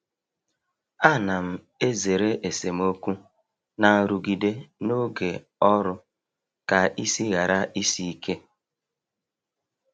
A na m ezere esemokwu na nrụgide n’oge ọrụ ka isi ghara isi ike